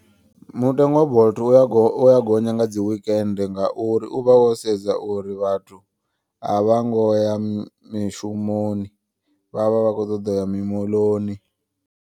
Mutengo wa bolt uya uya gonya nga dzi wekende. Ngauri uvha wo sedza uri vhathu a vha ngo ya mishumoni vhavha vha kho ṱoḓa uya mimoḽoni.